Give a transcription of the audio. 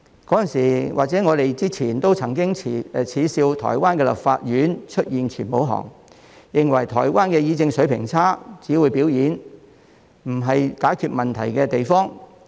在此之前，我們曾經耻笑台灣的立法院出現全武行，認為台灣的議政水平差，只會表演，不是解決問題的地方。